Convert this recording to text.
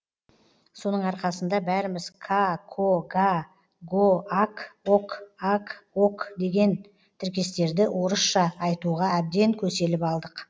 соның арқасында бәріміз ка ко га го ак ок аг ог деген тіркестерді орысша айтуға әбден көселіп алдық